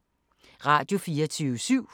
Radio24syv